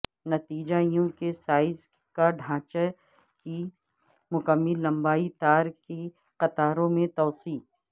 نتیجے یو کے سائز کا ڈھانچہ کی مکمل لمبائی تار کی قطاروں میں توسیع